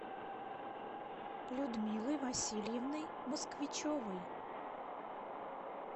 людмилой васильевной москвичевой